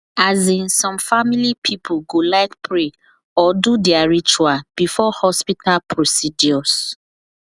as in some family people go like pray or do their ritual before hospital procedures